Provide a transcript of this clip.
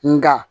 Nga